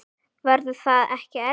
Verður það ekki erfitt?